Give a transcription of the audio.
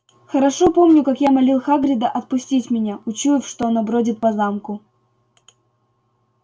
хорошо помню как я молил хагрида отпустить меня учуяв что оно бродит по замку